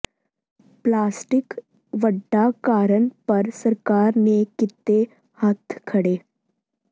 plastic ਵੱਡਾ ਕਾਰਨ ਪਰ ਸਰਕਾਰ ਨੇ ਕੀਤੇ ਹੱਥ ਖੜ੍ਹੇ